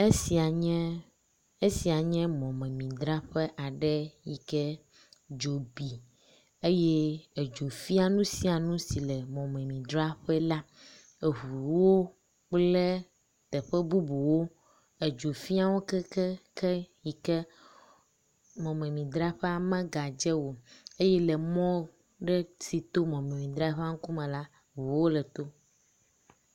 Esia nye, esia nye mɔmemidzraƒe aɖe yike dzo bi eye edzo fia nu sia nu si le mɔmemidzraƒe la. Eŋuwo kple teƒe bubuwo, edzo fia wo keŋkeŋkeŋ yike mɔmemidzraƒea megadze o eye le mɔ ɖe si to mɔmemidzraƒea ŋkume la, ŋuwo le tom.